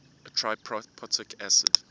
a triprotic acid